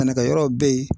Sɛnɛkɛ yɔrɔw bɛ yen